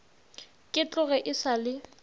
ke tloge e sa le